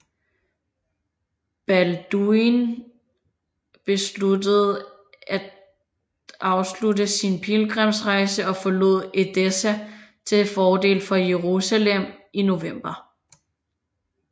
Balduin besluttede at afslutte sin pilgrimsrejse og forlod Edessa til fordel for Jerusalem i november